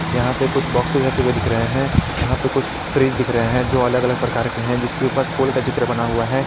यहां पे कुछ बॉक्सेस रखे हुए दिख रहे है यहां पे कुछ फ्रीज दिख रहे है जो अलग अलग प्रकार के है जिसके ऊपर फूल का चित्र बना हुआ है।